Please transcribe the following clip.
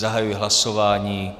Zahajuji hlasování.